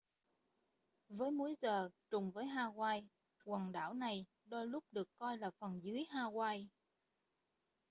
với múi giờ trùng với hawaii quần đảo này đôi lúc được coi là phần dưới hawaii